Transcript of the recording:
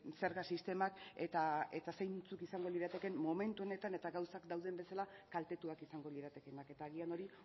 zerga sistemak eta zeintzuk izango liratekeen momentu honetan eta gauza dauden bezala kaltetuak izango liratekeenak eta agian hori